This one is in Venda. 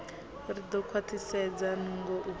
ri ḓo khwaṱhisedza nungo u